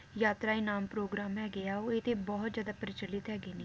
ਯਾਤ੍ਰਾਈ ਨਾਮ ਪ੍ਰੋਗਰਾਮ ਹੈਗੇ ਆ ਉਹ ਇਹ ਤੇ ਬਹੁਤ ਜ਼ਿਆਦਾ ਪ੍ਰਚਲਿਤ ਹੈਗੇ ਨੇ